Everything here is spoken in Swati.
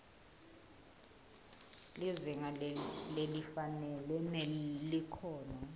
lizinga lelifanele nelikhono